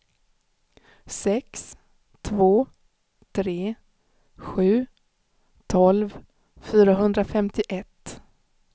sex två tre sju tolv fyrahundrafemtioett